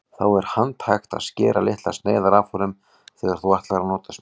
Þá er handhægt að skera litlar sneiðar af honum þegar þú ætlar að nota smjörið.